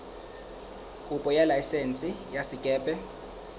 kopo ya laesense ya sekepe